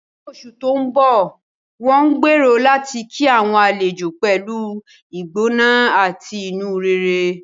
Ní oṣù tó ń bọ̀, wọ́n gbèrò láti kí àwọn àlejò pẹ̀lú ìgbóná àti inú rere.